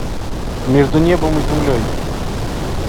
между небом и землей